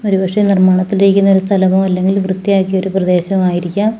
ഒരുപക്ഷേ നിർമാണത്തിലിരിക്കുന്ന ഒരു സ്ഥലമോ അല്ലെങ്കിൽ വൃത്തിയാക്കിയ ഒരു പ്രദേശം ആയിരിക്കാം.